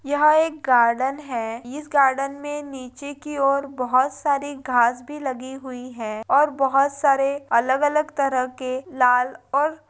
यह एक गार्डन है इस गार्डन मे निचे कि और बहुत सारी घास भी लगी हुई है और बहुत सारे अलग अलग तरह के लाल और --